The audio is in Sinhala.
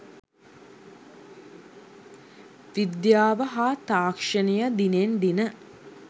විද්‍යාව හා තාක්ෂණය දිනෙන් දින